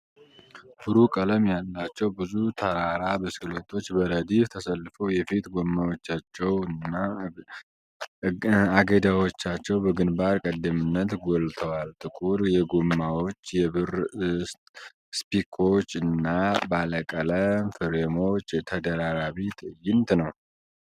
ብሩህ ቀለም ያላቸው ብዙ ተራራ ብስክሌቶች በረድፍ ተሰልፈው የፊት ጎማዎቻቸው እና እገዳዎቻቸው በግንባር ቀደምትነት ጎልተዋል። ጥቁር የጎማዎች፣ የብር ስፒኮች እና ባለቀለም ፍሬሞች ተደራራቢ ትዕይንት ነው።